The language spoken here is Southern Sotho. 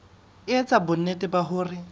e etsa bonnete ba hore